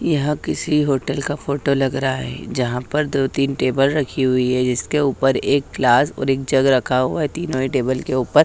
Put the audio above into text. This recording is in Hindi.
यह किसी होटल का फोटो लग रहा है जहां पर दो तीन टेबल रखी हुई है जिसके ऊपर एक ग्लास और एक जग रखा हुआ है तीनों ही टेबल के ऊपर--